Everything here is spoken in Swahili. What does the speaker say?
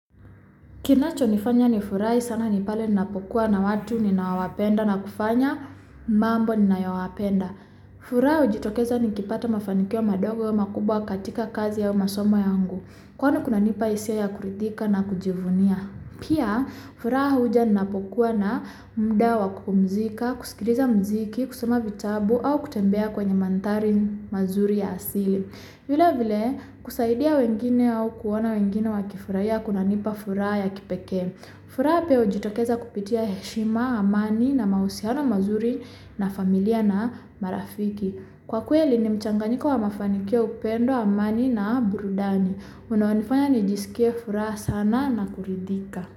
Kinacho nifanya ni furahi sana nipale ninapokua na watu nina wapenda na kufanya mambo ninayo wapenda. Furaha hujitokeza nikipata mafanikio madogo ama kubwa katika kazi au masoma yangu. Kwenu kunanipa hisia ya kuridhika na kujivunia. Pia furaha huja ninapokua na muda wa kumzika, kusikiliza mziki, kusoma vichatu, au kutembea kwenye manthari mazuri ya asili. Vile vile kusaidia wengine au kuona wengine wakifurahia kunanipa furaha ya kipekee. Furaha hujitokeza kupitia heshima, amani na mahusiano mazuri na familia na marafiki. Kwa kweli ni mchanganyiko wa mafanikiwo upendo, amani na burudani. Unanifanya nijisikie furaha sana na kuridhika.